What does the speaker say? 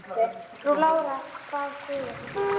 Frú Lára bað guð að hjálpa sér.